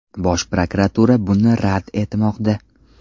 Bosh prokuratura buni rad etmoqda.